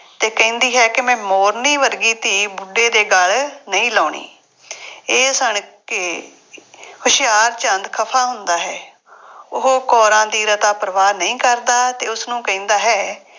ਅਤੇ ਕਹਿੰਦੀ ਹੈ ਕਿ ਮੈਂ ਮੋਰਨੀ ਵਰਗੀ ਧੀ ਬੁੱਢੇ ਦੇ ਗੱਲ ਨਹੀਂ ਲਾਉਣੀ। ਇਹ ਸੁਣ ਕੇ ਹੁਸ਼ਿਆਰਚੰਦ ਖਫਾ ਹੁੰਦਾ ਹੇ। ਉਹ ਕੌਰਾਂ ਦੀ ਰਤਾ ਪਰਵਾਹ ਨਹੀਂ ਕਰਦਾ ਅਤੇ ਉਸਨੂੰ ਕਹਿੰਦਾ ਹੈ